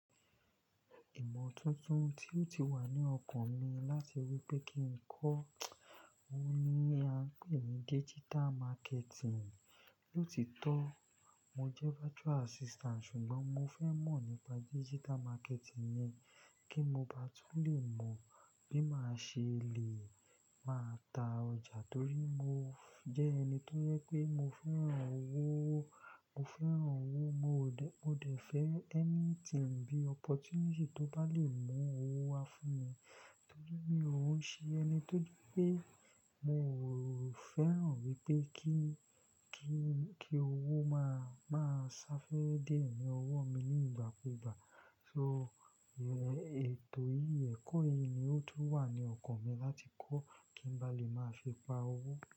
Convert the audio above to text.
Ìmọ̀ tuntun tí ó ti wà ní ọkàn mi láti rí pé kí n kọ́, òhun ni a ń pè ní digital marketing. Lótitọ́ mo jẹ́ virtual assistant, ṣùgbọ́n mo fẹ́ mọ̀ nípa digital marketing yẹn, kí mo ba tún lè mọ̀ bí màá ṣe lè máa ta ọjà torí mo jẹ́ ẹni tó jẹ pé mo fẹ́ràn owó. Mo fẹ́ràn owó, mo dẹ̀ fẹ́ anything bí opportunity tó bá lè mú owó wá fún mi torí mi ò ń ṣe ẹni tó rí pé mo ò fẹ́ràn wípé kí, kí, kí owó má má sá fẹ́ dè é ní ọwọ́ mi ní ìgbà kú ìgbà. So, ètò yìí, ẹ̀kọ́ yìí ni ó ti wà ní ọkàn mi láti kọ́ kí n bá lè máa fi pa owó.